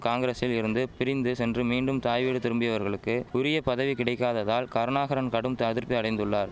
காங்கிரசிலிருந்து பிரிந்து சென்று மீண்டும் தாய்வீடு திரும்பியவர்களுக்கு உரியபதவி கிடைக்காததால் கருணாகரன் கடும்த்து அதிர்பி அடைந்துள்ளார்